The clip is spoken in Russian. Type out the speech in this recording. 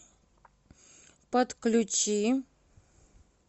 подключи